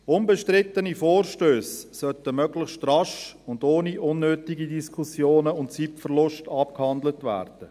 Unbestrittene Vorstösse sollten möglichst rasch, ohne unnötige Diskussionen und Zeitverlust abgehandelt werden.